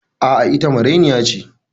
A'a, ita marainiya ce.